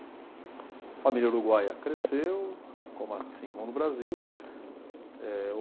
A família Uruguaia cresceu, como assim como no Brasil. Eh